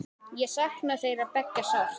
Ég sakna þeirra beggja sárt.